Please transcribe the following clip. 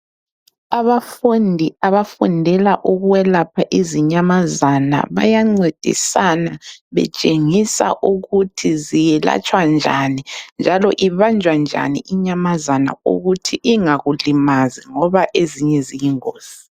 Abafundi abafundela ukwelapha izinyamazana bayancedisana betshengisa ukuthi ziyelatshwa njani, njalo ibanjwa njani inyamazana ukuthi ingakulimazi ngoba ezinye ziyingozi.